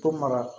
To mara